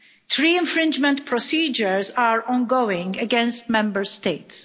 Three infringement procedures are ongoing against Member States.